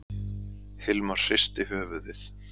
Hilmar hristi höfuðið.